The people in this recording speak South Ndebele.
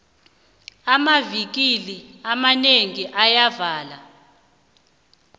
amavikili amanengi ayavalwa